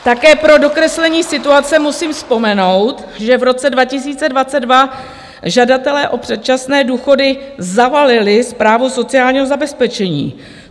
Také pro dokreslení situace musím vzpomenout, že v roce 2022 žadatelé o předčasné důchody zavalili Správu sociálního zabezpečení.